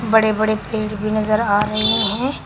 बड़े बड़े पेड़ भी नजर आ रहे हैं।